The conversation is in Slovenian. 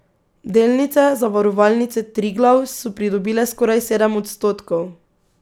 Delnice Zavarovalnice Triglav so pridobile skoraj sedem odstotkov.